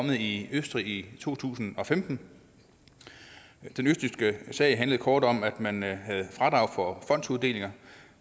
i østrig i to tusind og femten den østrigske sag handlede kort fortalt om at man havde fradrag for fondsuddelinger